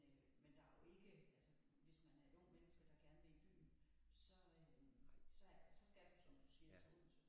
Men øh men der er jo ikke altså hvis man er et ungt menneske der gerne vil i byen så øh så så skal du som du siger til Odense